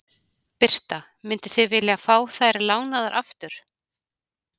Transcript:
Birta: Mynduð þið vilja fá þær lánaðar aftur?